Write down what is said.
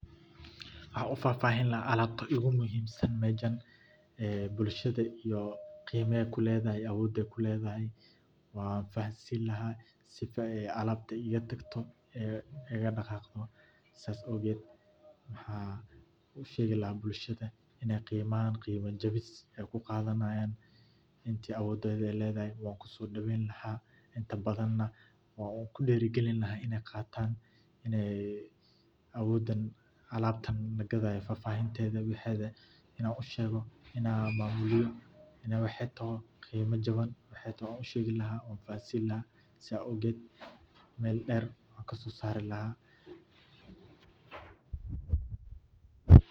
Waxan u fahfaahin laha alabta igu muhiimsan mejan, ee bulshada iyo qeymaha ay kuleedahan awooda kuleedahay, wan fahansini lahay sifa ay alab ay iga dhagaqdo, saa awged waxaa usheegi lahaa bulshada inay qeyma ahan qeyma jebis ay kuqaadanayan intii awoodeyda ay ledahay wankuso dhooweyn laha,8nta badan nah wanku dhiiri gelin lahay inay qaatan, awoodan alabtan lagadayo fahfaahintada wexeeda inan usheego inan maamuliyo waxey tohoo qeymo jaban waxay toho wan ushegi lahay wan fahansini laha sa awged Mel dheer wankaso saari laha